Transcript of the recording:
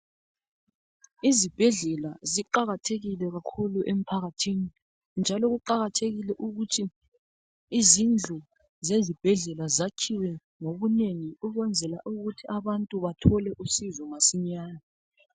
Izibhedlela ziqakathekile kakhulu emphakathini njalo kuqakathekile ukuthi izindlu zezibhedlela zakhiwe ngobunengi ukwenzela ukuthi abantu bathole uncedo masinyane.